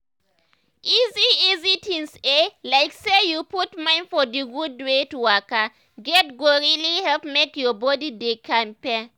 easy easy things eh like say you put mind for d gud wey to waka get go really help make your body dey kampe.